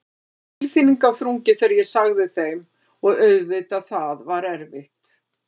Það var tilfinningaþrungið þegar ég sagði þeim og auðvitað það var erfitt.